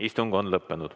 Istung on lõppenud.